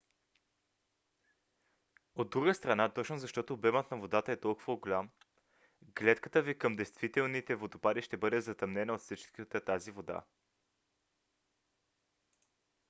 от друга страна точно защото обемът на водата е толкова голям гледката ви към действителните водопади ще бъде затъмнена от всичката тази вода!